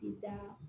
I taa